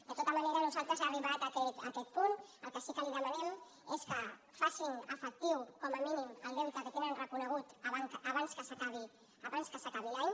de tota manera nosaltres arribats a aquest punt el que sí que li demanem és que facin efectiu com a mínim el deute que tenen reconegut abans que s’acabi l’any